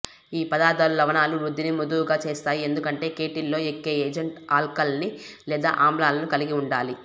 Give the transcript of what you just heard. ఈ పదార్ధాలు లవణాల వృద్ధిని మృదువుగా చేస్తాయి ఎందుకంటే కేటిల్లో ఎక్కే ఏజెంట్ ఆల్కలీ లేదా ఆమ్లాలను కలిగి ఉండాలి